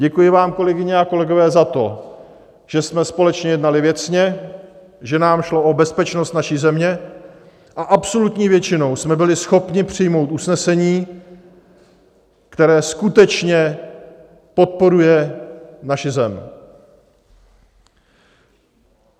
Děkuji vám, kolegyně a kolegové, za to, že jsme společně jednali věcně, že nám šlo o bezpečnost naší země a absolutní většinou jsme byli schopni přijmout usnesení, které skutečně podporuje naši zem.